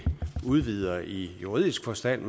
udvider det i juridisk forstand